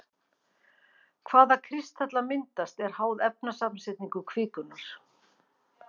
Hvaða kristallar myndast er háð efnasamsetningu kvikunnar.